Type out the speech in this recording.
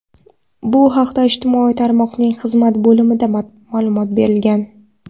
Bu haqda ijtimoiy tarmoqning xizmat bo‘limida ma’lumot berilgan.